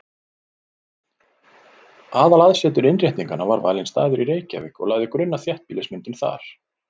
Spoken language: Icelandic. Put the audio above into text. Aðalaðsetur Innréttinganna var valinn staður í Reykjavík og lagði grunn að þéttbýlismyndun þar.